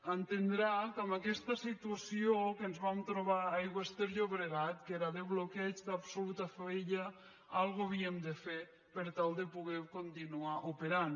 entendrà que amb aquesta situació que ens vam trobar a aigües ter llobregat que era de bloqueig d’absoluta fallida alguna cosa havíem de fer per tal de poder continuar operant